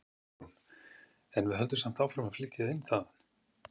Guðrún: En við höldum samt áfram að flytja inn þaðan?